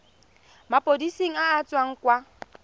maphodiseng a a tswang kwa